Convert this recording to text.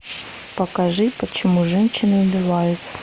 покажи почему женщины убивают